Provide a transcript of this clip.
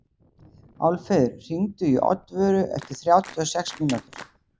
Álfheiður, hringdu í Oddvöru eftir þrjátíu og sex mínútur.